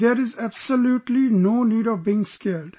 There is absolutely no need of being scared